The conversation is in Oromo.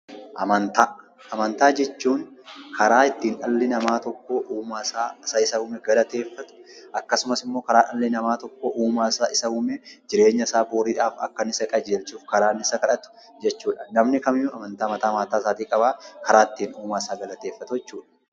Amantaa jechuun karaa itti namni tokko uumaa isaa isa isa uume galateeffatu; akkasumas immoo jireenya isaa boriif illee akka inni isa qajeelchu kadhatudha. Namni kamiyyuu amantaa mataa mataa isaatii qaba.